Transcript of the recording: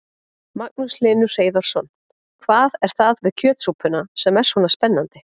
Magnús Hlynur Hreiðarsson: Hvað er það við kjötsúpuna sem er svona spennandi?